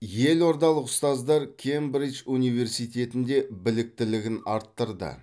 елордалық ұстаздар кембридж университетінде біліктілігін арттырды